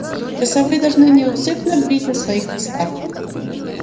часовые должны неусыпно бдить на своих постах